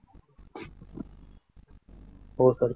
हो सर